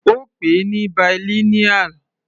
Ó pè ní bilineal.